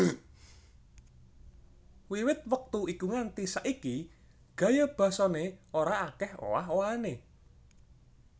Wiwit wektu ikunganti saiki gaya basané ora akèh owah owahané